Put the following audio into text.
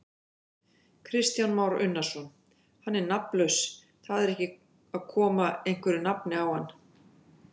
Kristján Már Unnarsson: Hann er nafnlaus, þar ekki að koma einhverju nafni á hann?